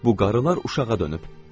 Bu qarılar uşağa dönüb.